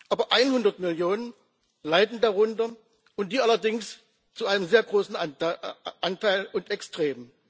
Aber 100 Millionen leiden darunter, und die allerdings zu einem sehr großen Anteil und extrem.